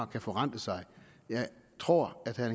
kan forrente sig jeg tror at herre